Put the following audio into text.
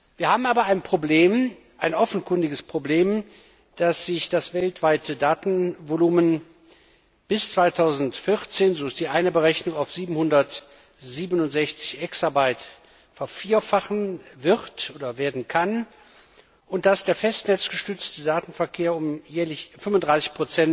Wir haben aber ein offenkundiges Problem, dass sich das weltweite Datenvolumen bis 2014 so ist die eine Berechnung auf 767 Exabyte möglicherweise vervierfachen wird und dass der festnetzgestützte Datenverkehr um jährlich 35